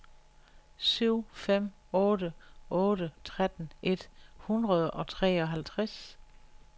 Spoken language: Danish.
syv fem otte otte tretten et hundrede og treoghalvtreds